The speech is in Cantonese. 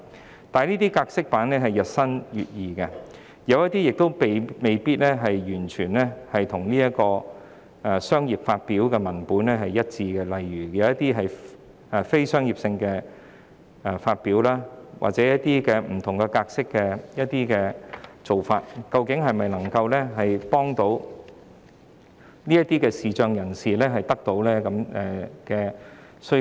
然而，由於有關格式版日新月異，有些版本未必完全與"商業發表"的文本一致，例如一些非商業發表或以不同格式製成的文本，未必能滿足視障人士的需求。